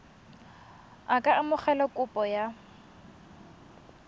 a ka amogela kopo ya